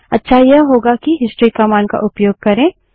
अच्छा यह होगा कि हिस्ट्री कमांड का उपयोग करें